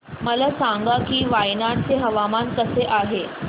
मला सांगा की वायनाड चे हवामान कसे आहे